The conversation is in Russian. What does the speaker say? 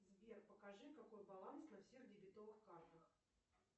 сбер покажи какой баланс на всех дебетовых картах